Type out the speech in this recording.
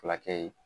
Fulakɛ